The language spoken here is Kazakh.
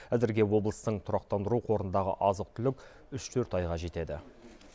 әзірге облыстың тұрақтандыру қорындағы азық түлік үш төрт айға жетеді